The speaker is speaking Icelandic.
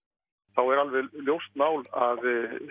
þá er alveg ljóst mál að